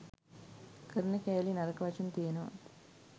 කරන කෑලි නරක වචන තියෙනවා